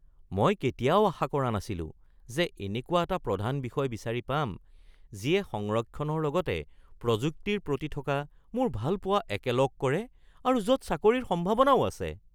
মই কেতিয়াও আশা কৰা নাছিলো যে এনেকুৱা এটা প্ৰধান বিষয় বিচাৰি পাম যিয়ে সংৰক্ষণৰ লগতে প্ৰযুক্তিৰ প্ৰতি থকা মোৰ ভালপোৱা একেলগ কৰে আৰু য'ত চাকৰিৰ সম্ভাৱনাও আছে (ছাত্ৰ)